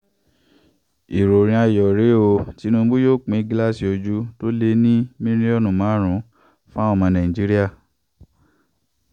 ìròyìn ayọ̀ rèé o tìnùbù yóò pín gíláàsì ojú tó lé ní mílíọ̀nù márùn-ún fáwọn ọmọ nàìjíríà